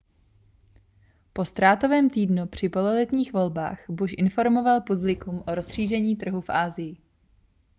po ztrátovém týdnu při pololetních volbách bush informoval publikum o rozšíření trhu v asii